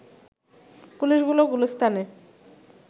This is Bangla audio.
পুলিশগুলো গুলিস্তানে